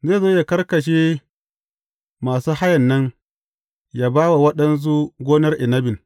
Zai zo ya karkashe masu hayan nan, ya ba wa waɗansu gonar inabin.